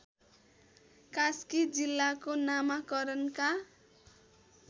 कास्की जिल्लाको नामाकरणका